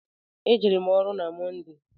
E jere m ọrụ na Mọnde.